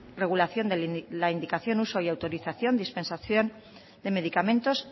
regulación de la indicación uso y autorización dispensación de medicamentos